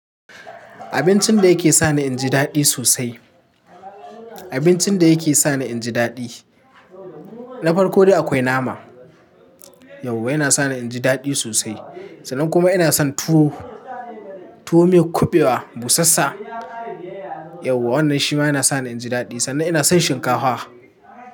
Abincin da yake sani inji daɗi sosai. Abincin da yake sani inji daɗi. Na farko dai akwai nama. Yauwa yana sani inji daɗi sosai. Sannan kuma ina son tuwo, tuwo miyar kuɓewa busasssa. Yauwa wannan shi ma yana sani inji daɗi. Sannan ina son shinkafa.